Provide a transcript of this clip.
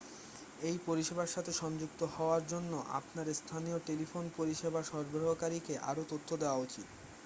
এই পরিষেবার সাথে সংযুক্ত হওয়ার জন্য আপনার স্থানীয় টেলিফোন পরিষেবা সরবরাহকারীকে আরও তথ্য দেওয়া উচিত